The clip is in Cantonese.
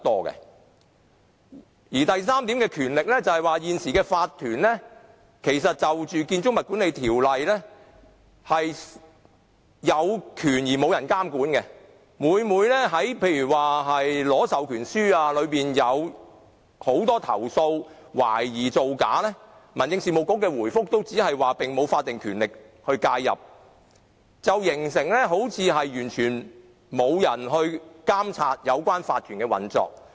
關於法團的權力，根據《建築物管理條例》，現時法團有權而沒有人監管，例如有很多投訴懷疑有關法團在獲取授權書方面涉及造假，但民政事務局的回覆往往只表示它並無法定權力介入，好像完全沒有人能監察有關法團的運作。